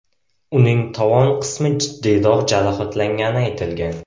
Uning tovon qismi jiddiyroq jarohatlangani aytilgan.